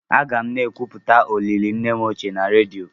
Aga m ekwupụta olili nne m ochie na redio.